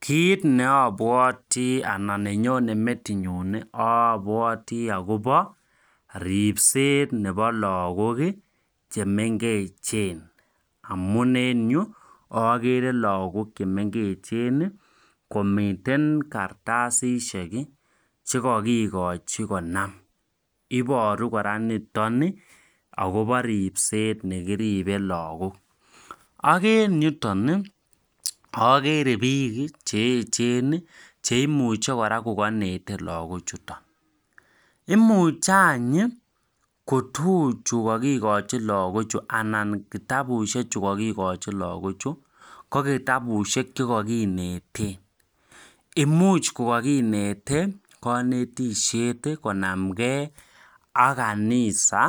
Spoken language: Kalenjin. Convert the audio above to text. Kit neobwotii ana nenyone metinyun obwotii akobo ripset nebo lokok kii chemengechen amun en ireyuu okere lokok chemengechen nii komiten kartasisiek kii chekokikochi konam iboru koraa niton nii akobo ripsetab nekiriben lokok ak en yoton nii okere bik cheyechen nii cheimuche kora ko kinete lokok chuton. Imuche anyi kotukuchu kokikochi lokok chuu anan kitabushek chuu kokikochi lokok chuu ko kitabushek chekokineten, imuch kikokinete konetishet konamgee ak kanisa